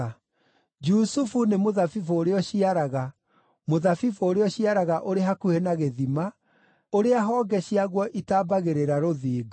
“Jusufu nĩ mũthabibũ ũrĩa ũciaraga, mũthabibũ ũrĩa ũciaraga ũrĩ hakuhĩ na gĩthima, ũrĩa honge ciaguo itambagĩrĩra rũthingo.